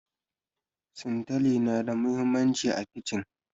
Sintali na da muhimmanci a kici